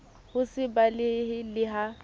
ho se balehe le ha